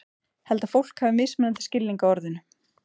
Held að fólk hafi mismunandi skilning á orðinu.